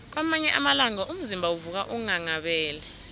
kwamanye amalanga umzimba uvuka unghanghabele